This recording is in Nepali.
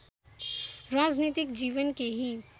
राजनीतिक जीवन केही